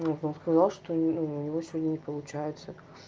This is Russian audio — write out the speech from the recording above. вот он сказал что у него сегодня не получается